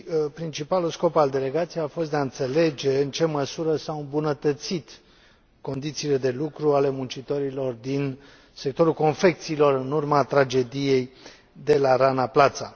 Principalul scop al delegației a fost de a înțelege în ce măsură s au îmbunătățit condițiile de lucru ale muncitorilor din sectorul confecțiilor în urma tragediei de la Rana Plaza.